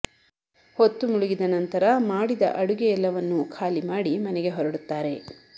ಹೊತ್ತು ಮುಳುಗಿದ ನಂತರ ಮಾಡಿದ ಅಡುಗೆಯೆಲ್ಲವನ್ನೂ ಖಾಲಿ ಮಾಡಿ ಮನೆಗೆ ಹೊರಡುತ್ತಾರೆ